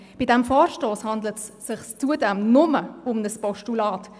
Bei diesem Vorstoss handelt es sich zudem nur um ein Postulat.